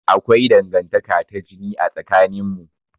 Akwai Dangantaka ta jini a tsakanin mu.